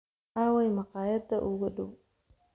aaway maqaayadda ugu dhow